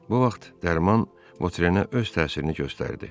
Bu vaxt dərman Votrenə öz təsirini göstərdi.